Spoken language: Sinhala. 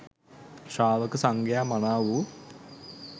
ශ්‍රාවක සංඝයා මනා වූ